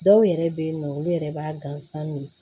Dɔw yɛrɛ bɛ yen nɔ olu yɛrɛ b'a gansan